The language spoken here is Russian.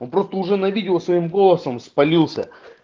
он просто уже на видео своим голосом спалился